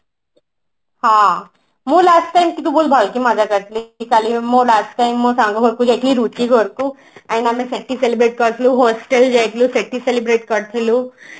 ହଁ ମୁଁ last time ଟିକେ ବହୁତ ଭଲକି ମଜା କରିଥିଲି କାଲି ବି ମୁଁ last time ମୋ ସାଙ୍ଗ ଘରକୁ ଯାଇଥିଲି ରୁଚି ଘରକୁ and ଆମେ ସେଠି celebrate କରିଥିଲୁ hostel ଯାଇଥିଲୁ ସେଠି celebrate କରିଥିଲୁ